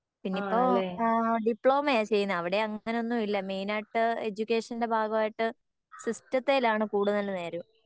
ഇപ്പൊ ആഹ് ഡിപ്ലോമയാ ചെയ്യുന്നേ അവിടെ അങ്ങിനെ ഒന്നും ഇല്ല മെയിൻ ആയിട്ട് എഡ്യൂക്കേഷൻ്റെ ഭാഗായിട്ട് സിസ്റ്റത്തിൽ ആണ് കൂടുതൽ നേരവും